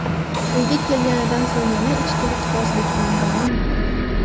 uyga kelganidan so‘ng yana ichkilikbozlikni davom ettirdi.